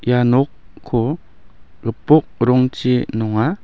ia nokko gipok rongchi nonga.